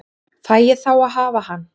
Fæ ég þá að hafa hann?